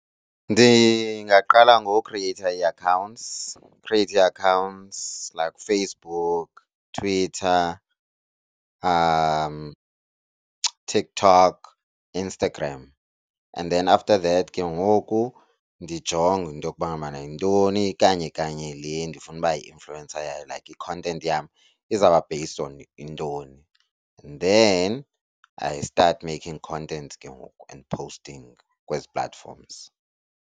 Ndingaqala ngokhriyeyitha ii-accounts, khriyeyithe i-accounts like Facebook, Twitter, TikTok, Instagram and then after that ke ngoku ndijonge into yokuba ngabana yintoni kanye kanye le ndifuna uba yi-influencer yayo, like i-content yam izawuba based on intoni. And then I start making content ke ngoku and posting kwezi platforms.